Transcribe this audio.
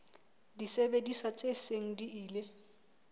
disebediswa tse seng di ile